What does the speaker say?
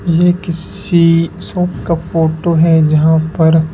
ये किसी शॉप का फोटो है जहां पर--